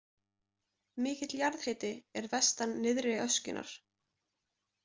Mikill jarðhiti er vestan nyrðri öskjunnar.